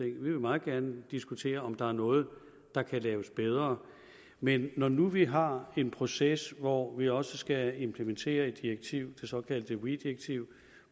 vi vil meget gerne diskutere om der er noget der kan laves bedre men når nu vi har en proces hvor vi også skal implementere et direktiv det såkaldte weee direktiv